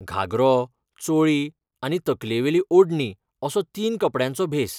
घागरो, चोळी आनी तकलेवेली ओडणी असो तीन कपडयांचो भेस.